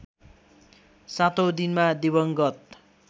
सातौँ दिनमा दिवंगत